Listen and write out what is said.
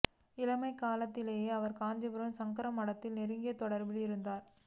இளமைக் காலத்திலிருந்தே அவா் காஞ்சிபுரம் சங்கர மடத்துடன் நெருங்கிய தொடா்பில் இருந்தவா்